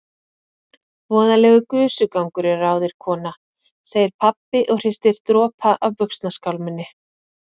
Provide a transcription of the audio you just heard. Voðalegur gusugangur er á þér kona, segir pabbi og hristir dropa af buxnaskálminni.